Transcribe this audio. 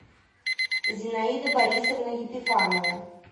зинаида борисовна епифанова